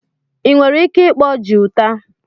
Ị nwere ike ịkpọ guitar?